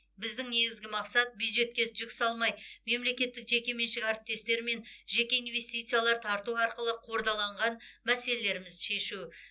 біздің негізгі мақсат бюджетке жүк салмай мемлекеттік жекеменшік әріптестіктер жеке инвестициялар тарту арқылы қордаланған мәселелерімізді шешу